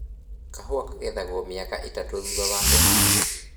Kahũa kagethagwo mĩaka ĩtatũ thutha wa kũhandwo